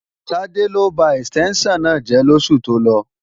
Tádé ló ba ẹ̀stẹ́ńṣàn náà jẹ́ lóṣù tó lọ